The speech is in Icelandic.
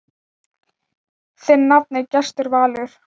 Þinn nafni, Gestur Valur.